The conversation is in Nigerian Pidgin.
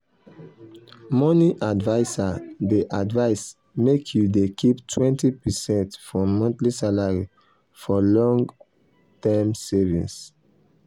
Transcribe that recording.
money adviser dey advise make you dey keep 20 percent from monthly salary for long-term savings.